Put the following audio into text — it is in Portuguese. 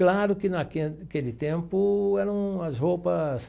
Claro que naque naquele tempo eram as roupas...